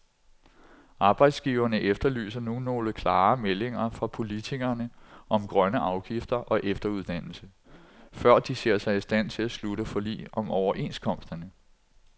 Arbejdsgiverne efterlyser nu nogle klare meldinger fra politikerne om grønne afgifter og efteruddannelse, før de ser sig i stand til at slutte forlig om overenskomsterne.